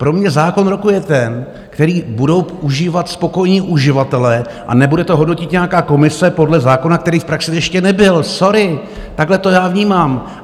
Pro mě zákon roku je ten, který budou užívat spokojení uživatelé, a nebude to hodnotit nějaká komise podle zákona, který v praxi ještě nebyl. Sorry, takhle to já vnímám.